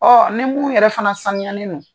Ɔ ni munnun yɛrɛ fana sanuyanen don.